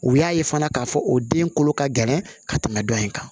U y'a ye fana k'a fɔ o den kolo ka gɛlɛn ka tɛmɛ dɔ in kan